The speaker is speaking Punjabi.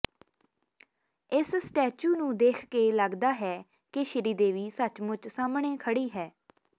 ਇਸ ਸਟੈਚੂ ਨੂੰ ਦੇਖ ਕੇ ਲੱਗਦਾ ਹੈ ਕਿ ਸ਼੍ਰੀਦੇਵੀ ਸਚਮੁੱਚ ਸਾਹਮਣੇ ਖੜ੍ਹੀ ਹੈ